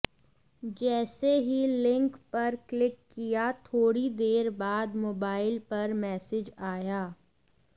जैसे ही लिंक पर क्लिक किया थोड़ी देर बाद मोबाइल पर मैसेज आया